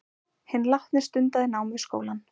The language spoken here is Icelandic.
Hinn látni stundaði nám við skólann